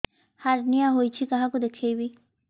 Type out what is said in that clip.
hernia ହୋଇଛି କାହାକୁ ଦେଖେଇବି